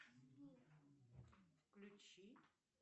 включи